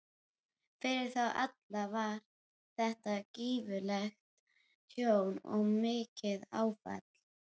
Fyrir þá alla var þetta gífurlegt tjón og mikið áfall.